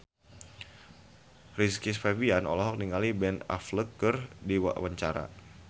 Rizky Febian olohok ningali Ben Affleck keur diwawancara